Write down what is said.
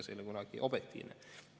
See ei ole kunagi objektiivne.